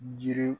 Jiri